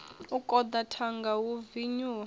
u koḓa thanga hu vinyuwa